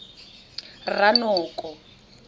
ranoko